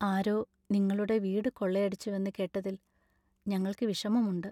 ആരോ നിങ്ങളുടെ വീട് കൊള്ളയടിച്ചുവെന്ന് കേട്ടതിൽ ഞങ്ങൾക്ക് വിഷമമുണ്ട്.